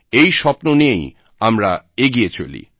এই স্বপ্ন নিয়েই আমরা এগিয়ে চলি